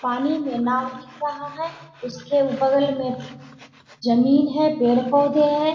पानी में नाँव दिख रहा है। उसके बगल में जमीन है पेड़ -पौधे हैं ।